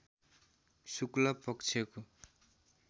शुक्ल पक्षको